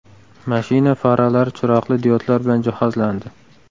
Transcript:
Mashina faralari chiroqli diodlar bilan jihozlandi.